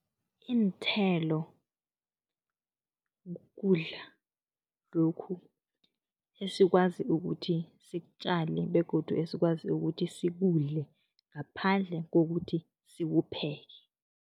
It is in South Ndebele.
Iinthelo kukudla lokhu esikwazi ukuthi sikutjale begodu esikwazi ukuthi sikudle, ngaphandle kokuthi sikupheke.